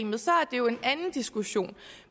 jo en anden diskussion